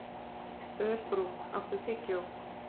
Örbrún, áttu tyggjó?